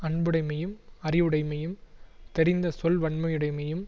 அன்புடைமையும் அறிவுடைமையும் தெரிந்த சொல்வன்மையுடைமையும்